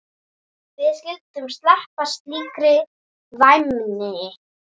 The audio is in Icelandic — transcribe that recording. Við skyldum sleppa slíkri væmni.